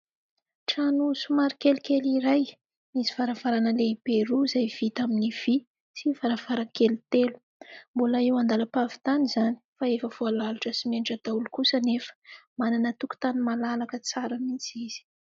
Trano somary kelikely iray, misy varavarana lehibe roa izay vita amin'ny vy sy varavarankely telo. Mbola eo an-dalam-pahavitany izany, fa efa voalalotra simenitra daholo kosa anefa. Manana tokotany malalaka tsara mihitsy izy.